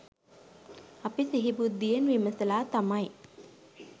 අපි සිහි බුද්ධියෙන් විමසලා තමයි